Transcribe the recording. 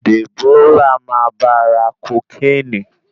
Deborah máa bá ra kokéènì.